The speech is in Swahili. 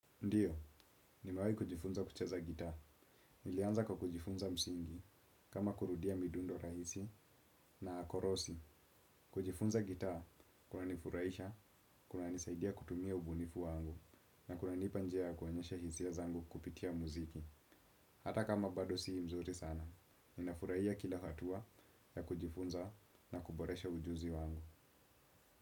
Ndiyo, ni mewai kujifunza kucheza gitaa. Nilianza kwa kujifunza msingi, kama kurudia midundo rahisi na korosi. Kujifunza gitaa kunanifuraisha kunanisaidia kutumia ubunifu wangu na kunanipa njia ya kuonyesha hisia zangu kupitia muziki hata kama bado sii mzuri sana. Ninafurahia kila hatua ya kujifunza na kuboresha ujuzi wangu.